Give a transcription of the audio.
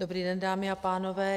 Dobrý den, dámy a pánové.